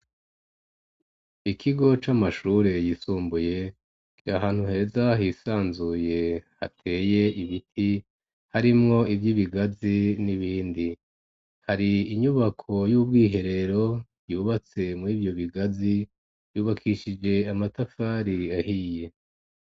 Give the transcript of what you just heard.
Ikigo c'amashure yisumbuye kiri ahantu heza hisanzuye hateye ibiti harimwo ivyibigazi n'ibindi, hari inyubako y'ubwiherero yubatse muri ivyo bigazi vyubakishije amatafari ahiye.